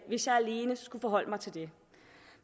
hvis jeg alene skulle forholde mig til det